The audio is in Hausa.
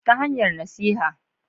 Ta hanyar nasiha